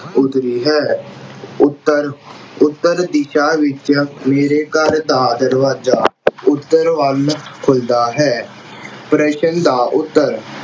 ਉੱਤਰੀ ਹੈ। ਉੱਤਰ, ਉੱਤਰ-ਦਿਸ਼ਾ ਵਿੱਚ, ਮੇਰੇ ਘਰ ਦਾ ਦਰਵਾਜ਼ਾ ਉੱਤਰ ਵੱਲ ਖੁੱਲਦਾ ਹੈ। ਪ੍ਰਸ਼ਨ ਦਾ ਉੱਤਰ